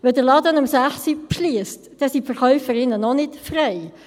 Wenn der Laden um 18 Uhr schliesst, sind die Verkäuferinnen noch nicht frei.